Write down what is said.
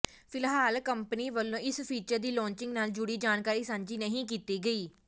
ਫਿਲਹਾਲ ਕੰਪਨੀ ਵੱਲੋ ਇਸ ਫੀਚਰ ਦੀ ਲਾਂਚਿੰਗ ਨਾਲ ਜੁੜੀ ਜਾਣਕਾਰੀ ਸਾਂਝੀ ਨਹੀਂ ਕੀਤੀ ਗਈ